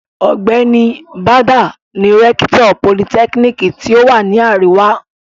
Ọ̀gbẹ́ni Bàdà ni rẹ́kítọ̀ politẹ́kíníkì tí ó wà ní àríwá.